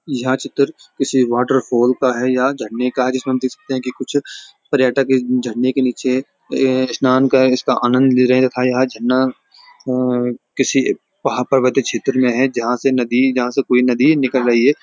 यह चित्र किसी वाटरफॅाल का है या झरने का है जिसमे हम देख सकते हैं कुछ पर्यटक इस झरने के नीचे स्नान कर इसका आनंद ले रहे हैं तथा यह झरना किसी महापर्वत क्षेत्र मे है जहाँ से नदी जहाँ से कोई नदी निकल रही है।